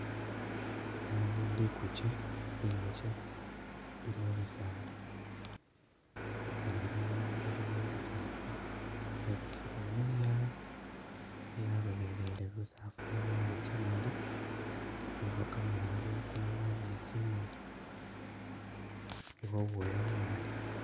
Ano Liguje inguje ili mubisaala, bisaala bino bilikho busafu yebisilemu yaa yalolelele busafu inguje imali ilikho kamoolu kumunwa ni tsimoni ilikho ubwoya bumali.